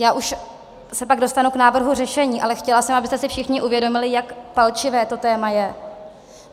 Já už se pak dostanu k návrhu řešení, ale chtěla jsem, abyste si všichni uvědomili, jak palčivé to téma je.